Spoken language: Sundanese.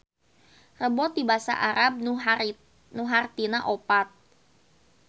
Rebo ti basa Arab nu hartina opat